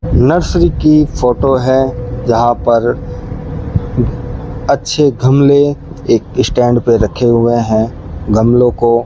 nursery की photo हैं यहां पर अच्छे घमले एक स्टैंड पे रखे हुए हैं गमले को --